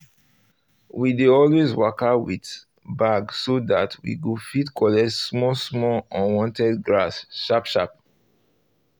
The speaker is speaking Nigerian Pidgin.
we dey always waka with bag so that we go fit collect small small unwanted grass sharply sharply